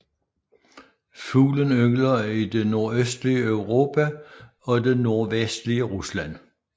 Fuglen yngler i det nordøstlige Europa og det nordvestlige Rusland